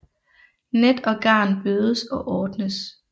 Net og garn bødes og ordnes